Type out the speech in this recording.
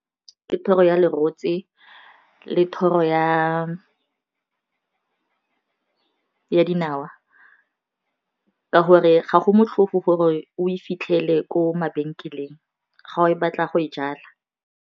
Ke thoro ya le rotse le thoro ya dinawa ka gore ga go motlhofo gore o fitlhele ko mabenkeleng ga o batla go e jala.